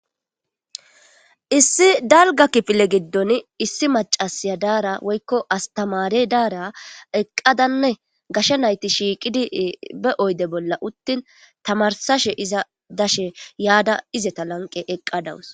Issi dalga kifile gidon issi mac,siya diyara woyiko astamare dara eqadanne gashe nayiti be oyide bolla utin tamarsashe iza yada izata lanqen eqadus